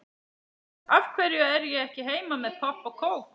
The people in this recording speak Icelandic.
Af hverju er ég ekki heima með popp og kók?